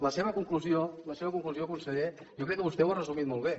la seva conclusió la seva conclusió conseller jo crec que vostè ho ha resumit molt bé